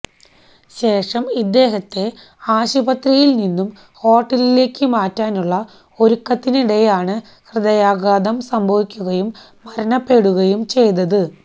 ശേഷം ഇദ്ദേഹത്തെ ആശുപത്രിയില് നിന്നും ഹോട്ടലിലേക്ക് മാറ്റാനുള്ള ഒരുക്കത്തിനിടെയാണ് ഹൃദയാഘാതം സംഭവിക്കുകയും മരണപ്പെടുകയും ചെയ്തത്